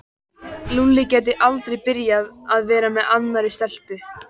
Lúlli gæti aldrei byrjað að vera með annarri stelpu.